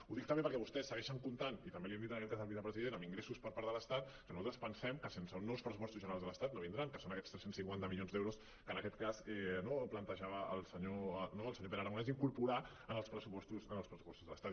ho dic també perquè vostès segueixen comptant i també l’hi hem dit en aquest cas al vicepresident amb ingressos per part de l’estat que nosaltres pensem que sense uns nous pressupostos generals de l’estat no vindran que són aquests tres cents i cinquanta milions d’euros que en aquest cas no plantejava el senyor pere aragonès d’incorporar en els pressupostos de l’estat